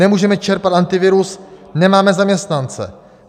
Nemůžeme čerpat Antivirus, nemáme zaměstnance.